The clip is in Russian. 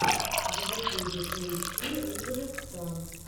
в ютубе поищи рыжего пса